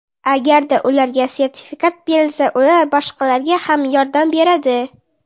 Agarda ularga sertifikat berilsa, ular boshqalarga ham yordam beradi.